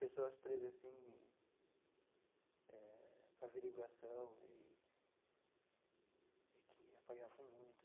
Pessoas presas assim eh para averiguação e e que apanhavam muito.